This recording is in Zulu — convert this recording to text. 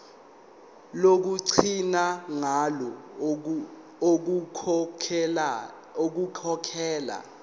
lokugcina ngalo ukukhokhela